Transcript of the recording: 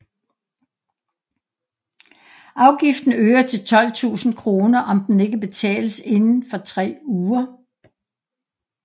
Afgiften øger til 12 000 kr om den ikke betales inden for tre uger